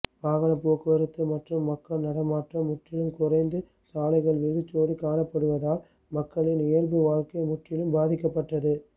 வாகனப் போக்குவரத்து மற்றும் மக்கள் நடமாட்டம் முற்றிலும் குறைந்து சாலைகள் வெறிச்சோடி காணப்படுவதால் மக்களின் இயல்பு வாழ்க்கை முற்றிலும் பாதிக்கப்பட்டது